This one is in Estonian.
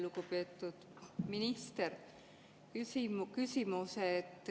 Lugupeetud minister!